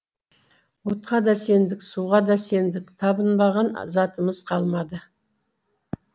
отқа да сендік суға да сендік табынбаған затымыз қалмады